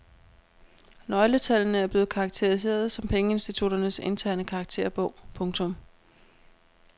Nøgletallene er blevet karakteriseret som pengeinstitutternes interne karakterbog. punktum